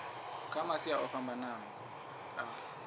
kha masia o fhambanaho a